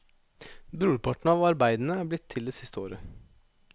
Brorparten av arbeidene er blitt til det siste året.